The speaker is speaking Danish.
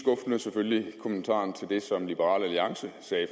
var selvfølgelig kommentaren til det som liberal alliance sagde